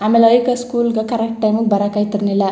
ಆಮೇಲೆ ಅಯ್ಕ್ ಸ್ಕೂಲ್ ಗ ಕರೆಕ್ಟ್ ಟೈಮ್ ಗೆ ಬರಕ್ ಆಯ್ತಿರ್ನಿಲ್ಲ.